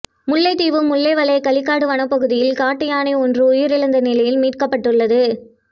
முல்லைத்தீவு முள்ளியவளை களிக்காடு வனப்பகுதியில் காட்டு யானை ஒன்று உயிரிழந்த நிலையில் மீட்கப்பட்டுள்ளது